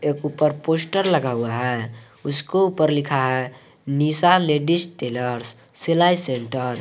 एक ऊपर पोस्टर लगा हुआ है उसको ऊपर लिखा है निशा लेडिस टेलर्स सिलाई सेंटर ।